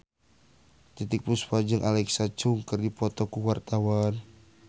Titiek Puspa jeung Alexa Chung keur dipoto ku wartawan